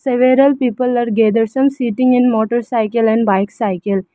several people are gathered some sitting in motorcycle and bike cycle.